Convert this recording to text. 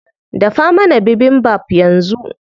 Dafa mana bibimbap yanzu.